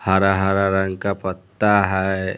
हरा हरा रंग का पत्ता है।